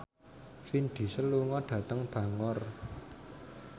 Vin Diesel lunga dhateng Bangor